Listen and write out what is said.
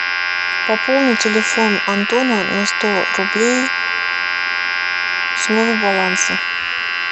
пополни телефон антона на сто рублей с моего баланса